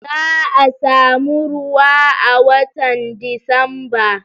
Za'a samu ruwa a watan Disamba